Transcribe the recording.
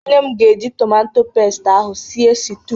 Nne m ga-eji tomato pest ahụ sie stiu.